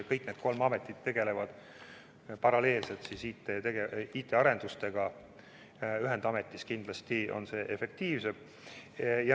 Kõik need kolm ametit tegelevad paralleelselt IT-arendustega, ühendametis on see kindlasti efektiivsem.